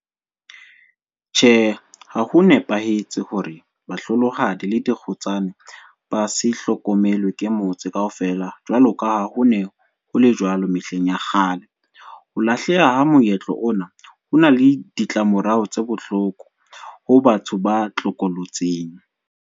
Tjhe, ha ho nepahetse hore ba hlolohadi le dikgutsana ba se hlokomelwe ke motse kaofela, jwalo ka ha hone hole jwalo mehleng ya kgale. Ho lahleha ha moetlo ona, hona le ditlamorao tse bohloko ho batho ba tlokolotsing.